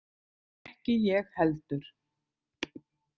Ekki ég heldur.